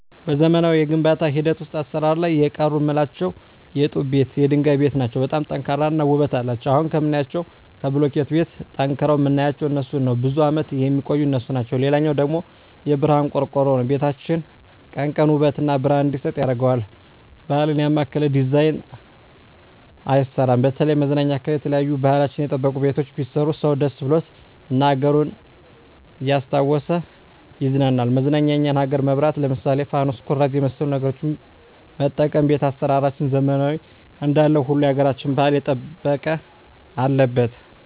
በዘመናዊ የግንባታ ሂደት ውሰጥ አሰራር ላይ የቀሩ ምላቸው የጡብ ቤት የድንጋይ ቤት ናቸው በጣም ጠንካራ እና ውበት አለቸው አሁን ከምናያቸው ከቡልኪት ቤት ጠንቅረዉ ምናያቸው እነሡን ነው ብዙም አመት የሚቆዩ እነሡ ናቸው ሌላው ደግሞ የብረሀን ቆርቆሮ ነው ቤታችን ቀን ቀን ውበት እና ብረሀን እንዲሰጥ ያረገዋል ባህል ያማከለ ዲዛይን አይሰራም በተለይም መዝናኛ አካባቢ የተለያዩ ባህልችን የጠበቁ ቤቶች ቢሰሩ ሰው ደስ ብሎት እና አገሩን እያስታወሱ ይቀናናል መዝናኛ የኛን አገር መብራት ለምሳሌ ፋኑስ ኩራዝ የመሠሉ ነገሮች መጠቀም ቤት አሰራራችንን ዘመናዊ እንዳለው ሁሉ ያገራቸውን ባህል የጠበቀ አለበት